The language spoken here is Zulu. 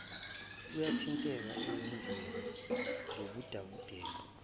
uyathinteka ezenzweni zobudedengu